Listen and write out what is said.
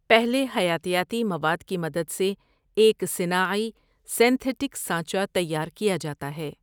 پہلے حیاتیاتی مواد کی مدد سے ایک صِنـَـاعِـی سینتہیٹک سانچہ تیار کیا جاتا ہے ۔